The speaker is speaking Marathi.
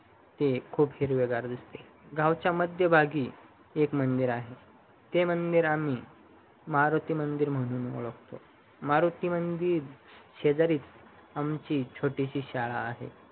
हे खूप हिरवेगार दिसते गावाच्या मध्यभागी एक मंदिर आहे ते मंदिर आम्ही मोरोटू मंदिर म्हणून ओढकतो मरोटी मंदिर शेजारीच आमची छोटीशी शाळा आहे